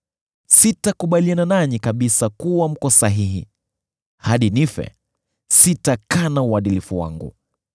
Sitakubaliana nanyi kabisa kuwa mko sahihi; hadi nife, sitakana uadilifu wangu.